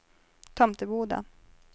Tomteboda